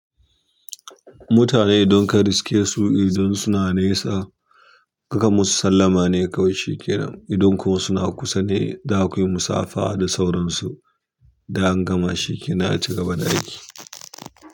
Mutane idan ka riske su idan suna nesa, ka kanmusu sallama ne kawai shikenan. Idan kuma suna kusa zakuyi musafaha da sauransu da angama shikenan aci gaba da aiki.